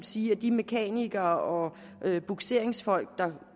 sige at de mekanikere og bugseringsfolk der